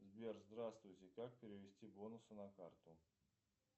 сбер здравствуйте как перевести бонусы на карту